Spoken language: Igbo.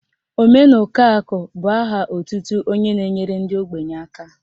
Omenukoakụ bụ aha otutu onye na-nyere ndị ogbenye aka